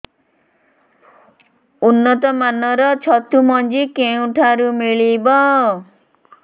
ଉନ୍ନତ ମାନର ଛତୁ ମଞ୍ଜି କେଉଁ ଠାରୁ ମିଳିବ